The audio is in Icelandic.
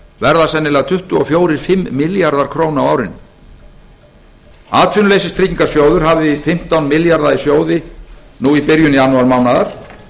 verða sennilega tuttugu og fjögur tisltr tuttugu og fimm milljarðar króna á árinu atvinnuleysistryggingasjóður hafði fimmtán milljarða í sjóði nú í byrjun janúarmánaðar